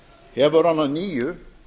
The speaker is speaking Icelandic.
hefur hann að nýju